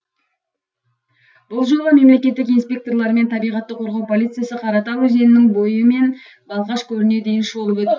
бұл жолы мемлекеттік инспекторлар мен табиғатты қорғау полициясы қаратал өзенінің бойы мен балқаш көліне дейін шолып өтті